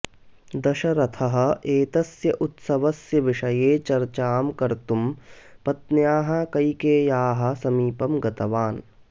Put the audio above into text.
दशरथः एतस्य उत्सवस्य विषये चर्चां कर्तुं पत्न्याः कैकेय्याः समीपं गतवान्